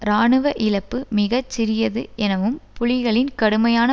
இராணுவ இழப்பு மிக சிறியது எனவும் புலிகளின் கடுமையான